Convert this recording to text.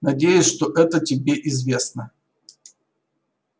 надеюсь что это тебе известно